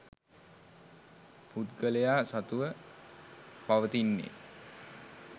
පුද්ගලයා සතුව පවතින්නේ